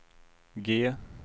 G